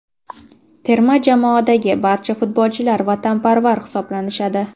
Terma jamoadagi barcha futbolchilar vatanparvar hisoblanishadi.